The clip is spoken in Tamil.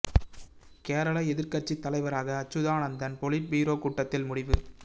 கேரள எதிர்க்கட்சித் தலைவராக அச்சுதானந்தன் பொலிட் பீரோ கூட்டத்தில் முடிவு